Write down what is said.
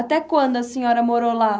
Até quando a senhora morou lá?